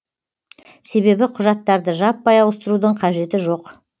себебі құжаттарды жаппай ауыстырудың қажеті жоқ